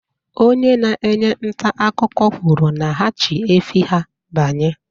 Onye na-enye ntaakụkọ kwuru na ha chị efi ha banye